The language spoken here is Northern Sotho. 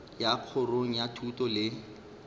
ya kgorong ya thuto le